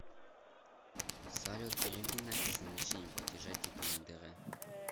салют переведи насте с назначением платежа типа на др